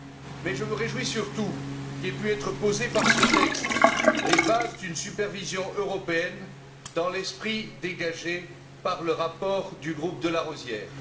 Mais je me réjouis surtout qu'aient pu être posées par ce texte les bases d'une supervision européenne dans l'esprit dégagé par le rapport du groupe de Larosière.